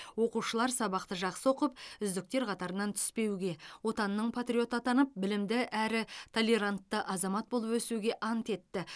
оқушылар сабақты жақсы оқып үздіктер қатарынан түспеуге отанының патриоты атанып білімді әрі толерантты азамат болып өсуге ант етті